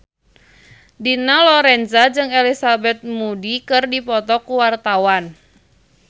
Dina Lorenza jeung Elizabeth Moody keur dipoto ku wartawan